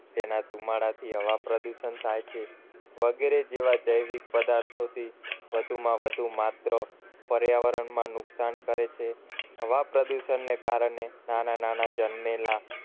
તેના ધુમાડા થી હવા પ્રદુષણ થાય છે વગેરે જેવા જૈવિક પદાર્થોથી વધુમાં વધુ માત્ર પર્યાવરણમાં નુકસાન કરે છે હવા પ્રદુષણને કારણે નાના નાના જન્મેલા